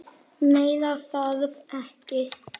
Meira þarf ekki.